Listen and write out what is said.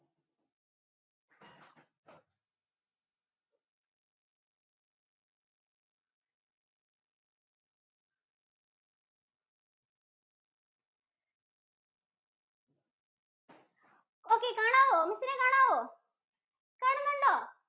Okay കാണാവോ? Miss ഇനെ കാണാവോ? കാണുന്നുണ്ടോ?